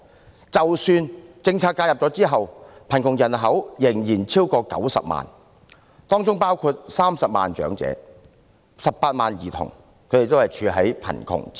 即使在採取政策措施介入後，貧窮人口仍然超過90萬人，當中包括30萬名長者及18萬名兒童活於貧窮之中。